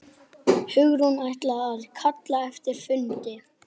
Hugrún: Ætlið þið að kalla eftir fundi?